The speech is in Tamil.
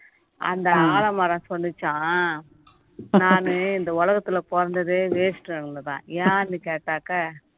அந்த ஆலமரம் சொல்லுச்சாம் நானு இந்த உலகத்துல பொறந்ததே waste ங்குதாம் ஏன்னு கேட்டாக்க